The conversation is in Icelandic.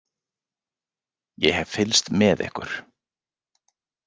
Ég hef fylgst með ykkur.